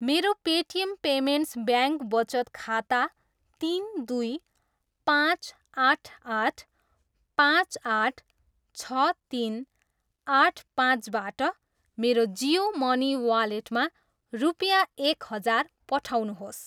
मेरो Paytm payments bank वचत खाता तिन, दुई, पाँच, आठ, आठ, पाँच, आठ, छ, तिन, आठ, पाँचबाट मेरो जियो मनी वालेटमा रुपियाँ एक हजार पठाउनुहोस्।